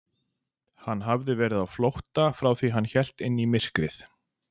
Hann hafði verið á flótta frá því að hann hélt inn í myrkrið.